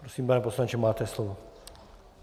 Prosím, pane poslanče, máte slovo.